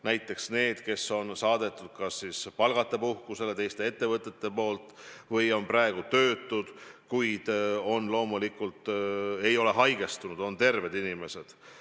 Näiteks inimesed, kes on saadetud teistest ettevõtetest palgata puhkusele või on praegu töötud, kuid loomulikult ei tohi need olla haigestunud inimesed, nad peavad olema terved.